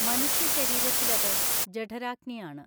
മനുഷ്യ ശരീരത്തിലത് ജഠരാഗ്നിയാണ്.